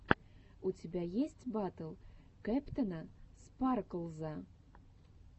у тебя есть батл кэптэна спарклза